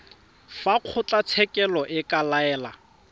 fa kgotlatshekelo e ka laela